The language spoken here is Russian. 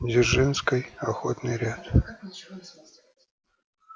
дзержинской охотный ряд